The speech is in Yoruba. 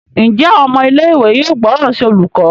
Njé Àwọn ọmọ ilé ìwé yóò gbóròn sí olùkó?